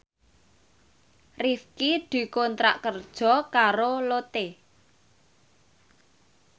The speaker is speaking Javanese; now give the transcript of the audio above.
Rifqi dikontrak kerja karo Lotte